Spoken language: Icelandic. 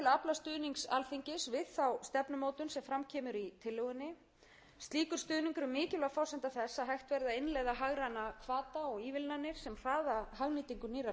stuðnings alþingis við þá stefnumótun sem fram kemur í tillögunni slíkur stuðningur er mikilvæg forsenda þess að hægt verði að innleiða hagræna hvata og ívilnanir sem hraða hagnýtingu nýrrar tækni og endurnýjanlegra orkugjafa í